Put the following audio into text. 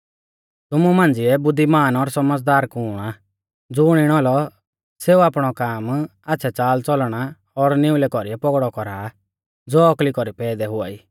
तुमु मांझ़िऐ बुद्धिमान और सौमझ़दार कुण आ ज़ुण इणौ औलौ सेऊ आपणौ काम आच़्छ़ै च़ालच़लणा और निउलै कौरीऐ पौगड़ै कौरा ज़ो औकली कौरी पैदै हुआई